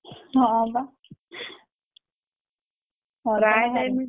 ହଁ ବା